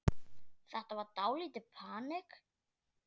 Þetta var dálítið panikk.